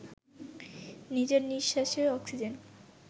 নিজের নিঃশ্বাসের অক্সিজেন